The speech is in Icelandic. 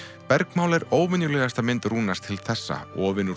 bergmál er óvenjulegasta mynd Rúnars til þessa ofin úr